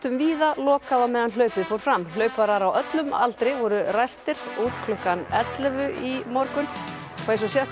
víða lokað á meðan hlaupið fór fram hlauparar á öllum aldri voru ræstir klukkan ellefu í morgun og eins og sést var